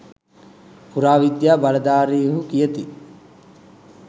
පුරාවිද්‍යා බලධාරීහු කියති.